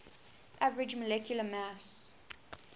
average molecular mass